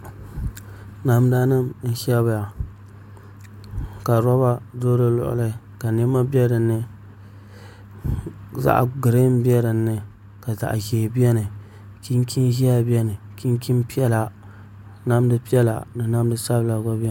Namda nim n shɛbiya ka roba do di luɣuli ka niɛma bɛ dinni zaɣ giriin bɛ dinni ka zaɣ ʒiɛ biɛni chinchin ʒiɛhi biɛni chinchin piɛla zaɣ ʒiɛhi biɛni ka namdi sabila gba biɛni